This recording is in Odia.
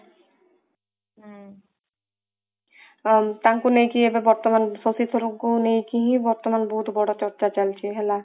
ତାଙ୍କୁ ନେଇକି ଏବେ ବର୍ତ୍ତମାନ ଶକ୍ତି ସ୍ୱରୂପ କୁ ନେଇକି ହିଁ ବର୍ତ୍ତମାନ ବହୁତ ବଡ ଚର୍ଚ୍ଚା ଚାଲିଛି ହେଲା